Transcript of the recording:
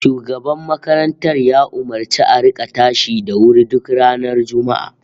Shugaban makarantar ya umurci a rika tashi da wuri duk ranar Juma'a